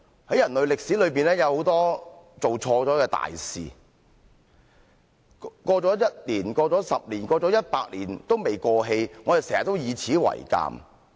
在人類歷史裏面，有很多做錯的大事，一年過去 ，10 年過去 ，100 年過去也沒有過氣，我們經常以此為鑒。